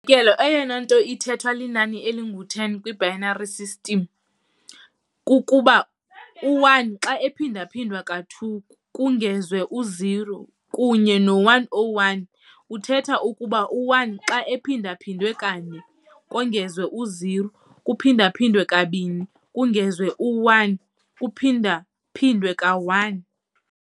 kelo, eyona nto ithethwa linani elingu-10 kwi-binary number system kukuba u-1 xa ephindwa-phindwa ka-2 kongezwe u-0, kunye no-101 uthetha ukuba u-1 xa ephindwa-phindwe kane, 4, kongezwa u-0 kuphinda-phindwe kabini, 0, kongezwe u-1 kuphinda-phindwe ka-1, 1.